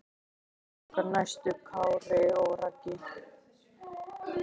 Hverjir verða okkar næstu Kári og Raggi?